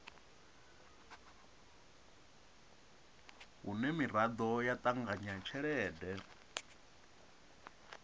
hune miraḓo ya ṱanganya tshelede